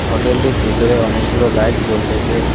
হোটেলটির ভিতরে অনেকগুলো লাইট জ্বলতেসে।